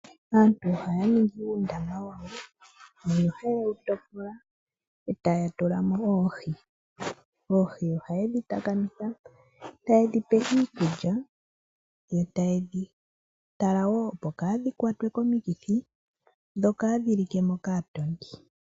Aantu ohaya ningi uundama wawo mbono haye wu topola eta ya tulamo oohi. Oohi ohaye dhi takamitha, taye dhipe iikulya, yo taye dhi tala wo opo kaadhi kwatwe komikithi, dho kaadhi like mo kaatondi.